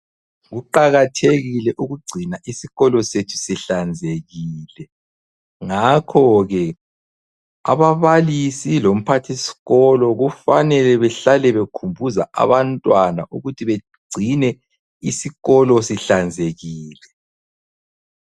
Kuqakathekile ukugcina isikolo sethu sihlanzekile, ngakhoke ababalisi lomphathisikolo kufanele bahlale bekhumbuza abantwana ukuthi bagcine isikolo sihlanzekile.